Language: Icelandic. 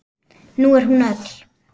Nú er hún öll.